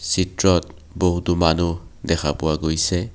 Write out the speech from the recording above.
চিত্ৰত বহুতো মানুহ দেখা পোৱা গৈছে।